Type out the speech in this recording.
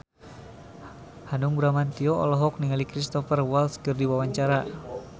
Hanung Bramantyo olohok ningali Cristhoper Waltz keur diwawancara